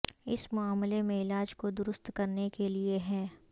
اس معاملے میں علاج کو درست کرنے کے لئے ہے